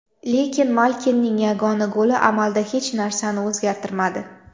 Lekin Malkinning yagona goli amalda hech narsani o‘zgartirmadi.